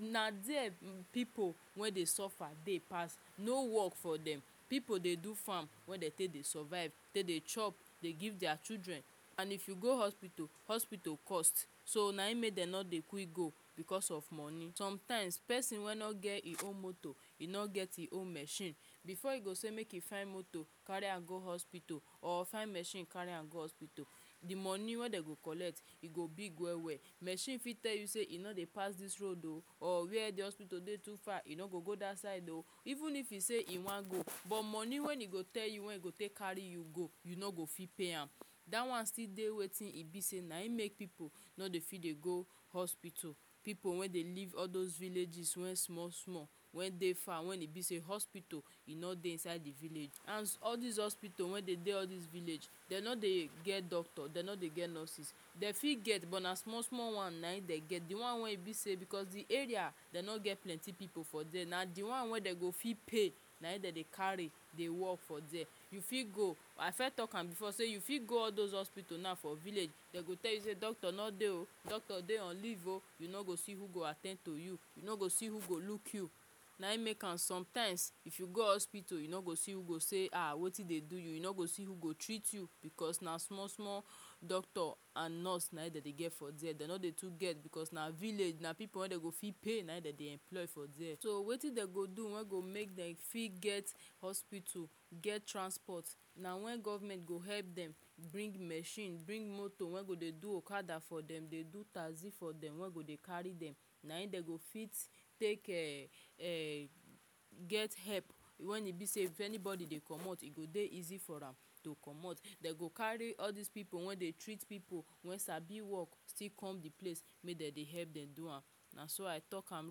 na dere pipu wey dey suffer dey pass no work for dem pipu dey do farm wey dem take dey survive take dey chop dey give deir children and if you go hospital, hospital cost so na im make dem no dey quic go because of money sometimes person wey no get e own motor e no get him own machine before e go sey make e find moto carry am go hospital or fin machine carry am go hospital de money wey dem go collect e go big well well machine fit tell you sey e no dey pass this road oh or where de hospital today too far e no go go that side oh even if you sey he wan go but money wey e go tell you when you go take carry you go you no go fit pay am dat one still dey wetin e be sey na him make pipu no dey fit dey go hospital pipu wey dey live all those villages well small small wey dey far when e be sey hospital e no dey inside de village and all dese hospital wey dey village dem no dey get doctor dem no dey get nurses dey fit get but na small small one na hin dey get de one wey e be sey because de area dem no get plenty pipu for dere na de one wey dem go fit pay na im dem dey carry dey work for dere you fit go I firs talk am before sey you fit go all those hospital now for village dem go tell you sey doctor no dey oh doctor dey on leave oh you no go see who go at ten d to you, you no go see who go look you na him make am sometimes if you go hospital you no go see who go sey um wetin dey do you no go see who go treat you because na small small doctor and nurse na im dem dey get for dere dem no dey too get because na village na pipu wey dem go fit pay na im dey dem employ for dere so wetin dem go do wey go make dem fit get hospital get transport na when government go help dem bring machine bring moto wey go dey do okada for dem dey do taxi for dem wey go dey carry dem na hin dem go fit take um get help when e be sey if anybody dey comot e go dey easy for am to comot dem go carry all dese pipu wey dey treat pipu when sabi work still come de place make dem dey help dem do am na so i talk am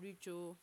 reach o.